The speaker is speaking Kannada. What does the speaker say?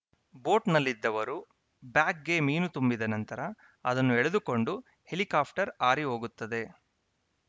ಬೋಟ್‌ನಲ್ಲಿದ್ದವರು ಬ್ಯಾಗ್‌ಗೆ ಮೀನು ತುಂಬಿದ ನಂತರ ಅದನ್ನು ಎಳೆದುಕೊಂಡು ಹೆಲಿಕಾಪ್ಟರ್‌ ಹಾರಿ ಹೋಗುತ್ತದೆ